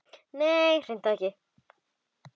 Nei, hreint ekki.